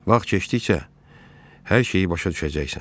Vaxt keçdikcə hər şeyi başa düşəcəksən.